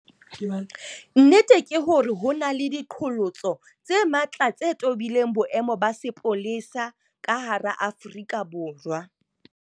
Nnete ke hore ho na le diqholotso tse matla tse tobileng boemo ba sepolesa ka hara Afrika Borwa.